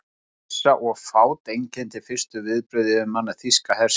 Óvissa og fát einkenndi fyrstu viðbrögð yfirmanna þýska hersins.